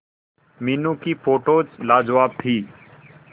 मीनू की फोटोज लाजवाब थी